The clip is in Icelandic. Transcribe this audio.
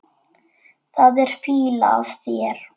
Það er fýla af þér.